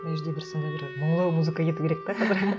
мына жерде бір сондай бір музыка кету керек те қазір